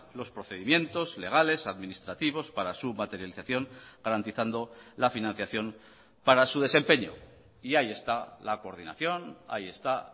los procedimientos legales administrativos para su materialización garantizando la financiación para su desempeño y ahí está la coordinación ahí está